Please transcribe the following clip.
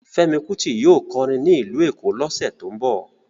Fẹ́mi Kuti yóò kọrin ní ìlú Èkó lọ́sẹ̀ tó ń bọ̀